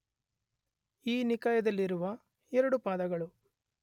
ಈ ನಿಕಾಯದಲ್ಲಿರುವ 2 ಪಾದಗಳು